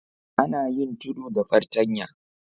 Ana yin tudu da fartanya.